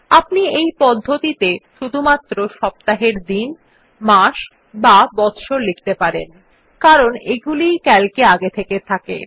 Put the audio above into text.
আপনি এই পদ্ধতিতে শুধুমাত্র সপ্তাহের দিন মাস বা বচ্ছর লিখতে পারবেন কারণ এগুলিই সিএএলসি এ আগে থেকে থাকে